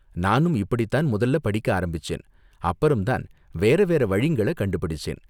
நானும் இப்படிதான் முதல்ல படிக்க ஆரம்பிச்சேன், அப்பறம்தான் வேற வேற வழிங்கள கண்டுபிடிச்சேன்.